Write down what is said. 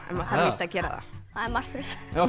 það maður þarf víst að gera það það er margt verra